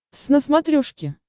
твз на смотрешке